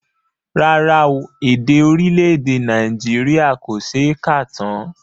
Rárá o, èdè orílẹ̀èdè Nàìjíríà kò ṣe é kà tán